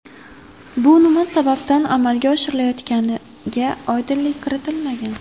Bu nima sababdan amalga oshirilayotganiga oydinlik kiritilmagan.